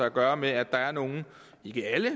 at gøre med at der er nogle ikke alle